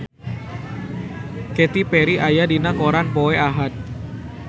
Katy Perry aya dina koran poe Ahad